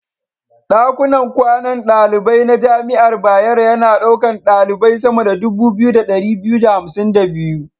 Ɗakunan kwanan daliban na jami'ar Bayero yana ɗaukar ɗalibai sama da 2252.